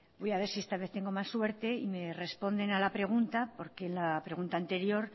voy a ver si esta vez tengo más suerte y me responden a la pregunta porque la pregunta anterior